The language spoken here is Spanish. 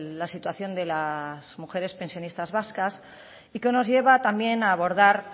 la situación de las mujeres pensionistas vascas y que nos lleva también a abordar